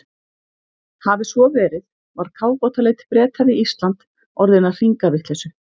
Hafi svo verið, var kafbátaleit Breta við Ísland orðin að hringavitleysu.